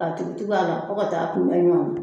A tugutugu a la fo ka taa kun bɛ ɲɔnnan.